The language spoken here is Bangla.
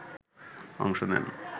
অংশ নেন